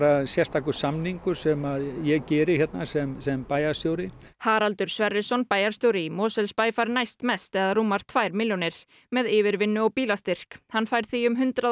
sérstakur samningur sem ég geri hérna sem sem bæjarstjóri Haraldur Sverrisson bæjarstjóri í Mosfellsbæ fær næstmest eða rúmar tvær milljónir með yfirvinnu og bílastyrk hann fær því hundrað